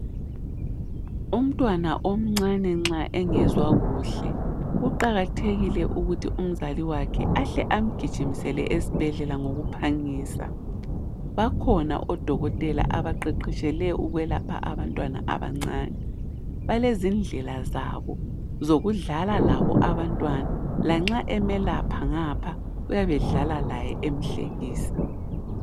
Umntwana omncane nxa engezwa kuhle kuqakathekile ukuthi umzali wakhe ahle amgijimisele esibhedlela ngokuphangisa. Bakhona odokotela abaqeqetshele ukwelapha abantwana abancane. Balezindlela zabo zokudlala labo abantwana lanxa emelapha ngapha uyabe edlala laye emhlekisa.